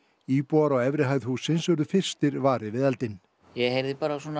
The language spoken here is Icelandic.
íbúar á efri hæð hússins urðu fyrstir varir við eldinn ég heyrði